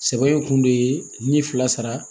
Sɛbɛn kun de ye ni fila sara